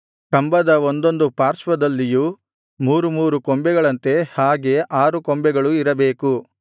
ಕಂಬದ ಒಂದೊಂದು ಪಾರ್ಶ್ವದಲ್ಲಿಯೂ ಮೂರು ಮೂರು ಕೊಂಬೆಗಳಂತೆ ಹಾಗೆ ಆರು ಕೊಂಬೆಗಳೂ ಇರಬೇಕು